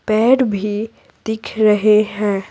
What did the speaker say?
पेड़ भी दिख रहे हैं।